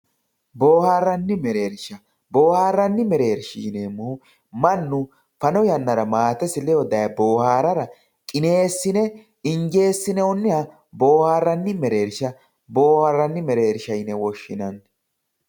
boohaarranni mereersha boohaarranni mereersha yineemmohu mannu fano yannara maatesi ledo dayee boohaarora qineessine injeessinoonniha boohaarranni mereersha boohaarranni mereersha yine woshshinanni.